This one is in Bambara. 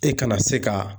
E kana se ka